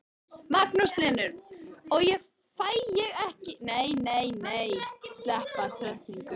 Magnús Hlynur: Og fæ ég ekki í nefið hjá þér?